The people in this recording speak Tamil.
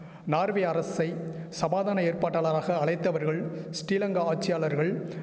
நார்வே அரசை சமாதான ஏற்பாட்டாளராக அழைத்தவர்கள் ஸ்ரீலங்கா ஆட்சியாளர்கள்